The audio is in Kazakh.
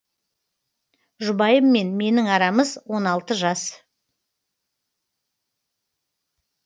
жұбайыммен менің арамыз он алты жас